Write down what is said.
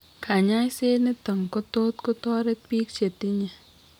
Kanyaiset niton kotot kotoret biik chetinye